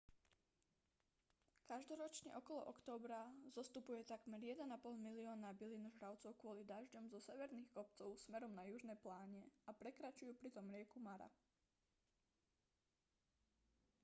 každoročne okolo októbra zostupuje takmer 1,5 milióna bylinožravcov kvôli dažďom zo severných kopcov smerom na južné pláne a prekračujú pritom rieku mara